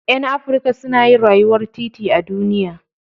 Ƴan Afrika suna yin rayuwar titi a duniya.